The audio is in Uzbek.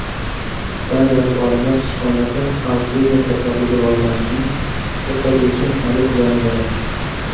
Ispaniyalik olimlar sichqonlarda Alsgeymer kasalligi rivojlanishini to‘xtatuvchi molekulani yaratdi.